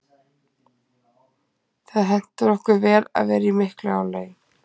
Það hentar okkur vel að vera í miklu álagi.